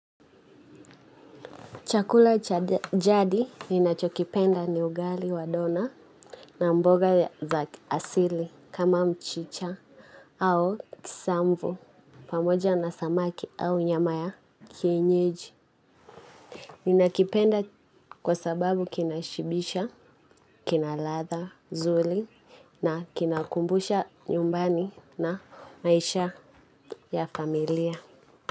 Chakula cha jadi ninachokipenda ni ugali wa dona na mboga za asili kama mchicha au kisamvu pamoja na samaki au nyama ya kienyeji. Ninakipenda kwa sababu kinashibisha, kinaladha zuri na kinakumbusha nyumbani na maisha ya familia.